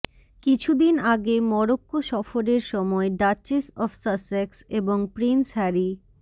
কিছুদিন আগে মরক্কো সফরের সময় ডাচেস অব সাসেক্স এবং প্রিন্স হ্যারি